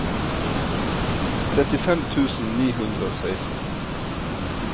trettifem tusen ni hundre og seksten